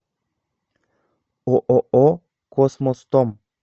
ооо космостом